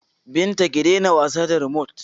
Binta, ki daina wasa da rimot!